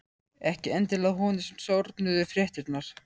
Ekki endilega að honum sárnuðu fréttirnar.